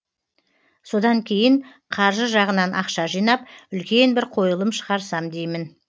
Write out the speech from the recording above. содан кейін қаржы жағынан ақша жинап үлкен бір қойылым шығарсам деймін